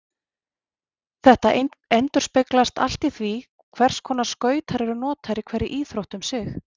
Þetta endurspeglast allt í því hvers konar skautar eru notaðir í hverri íþrótt um sig.